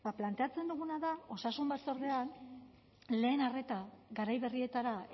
planteatzen duguna da osasun batzordean lehen arreta garai berrietara